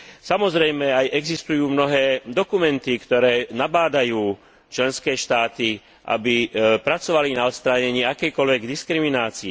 Samozrejme, existujú aj mnohé dokumenty, ktoré nabádajú členské štáty, aby pracovali na odstránení akejkoľvek diskriminácie.